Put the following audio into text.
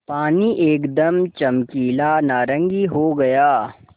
पानी एकदम चमकीला नारंगी हो गया